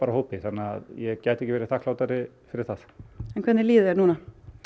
hópi þannig að ég gæti ekki verið þakklátari fyrir það en hvernig líður þér núna